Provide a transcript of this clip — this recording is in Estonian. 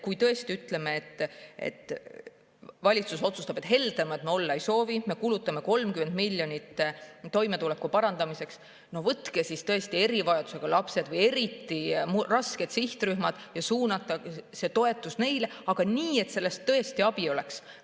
Kui tõesti valitsus otsustab, et heldemad me olla ei soovi ja kulutame 30 miljonit toimetuleku parandamiseks, siis võtke tõesti näiteks erivajadusega lapsed või eriti rasked sihtrühmad ja suunake see toetus neile, nii et sellest tõesti abi oleks.